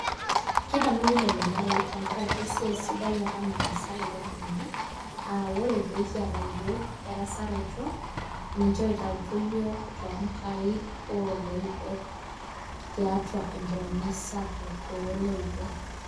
Kedamuni lelo marei tenkaraki esiai sidai apa nataasa lelo tung'anak, ah ore pekiata yiok erasaroto, ninche oitautuo yiok tonkaik oloibor tiatua enkironya sapuk oloibor.